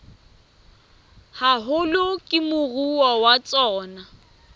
haholo ke moruo wa tsona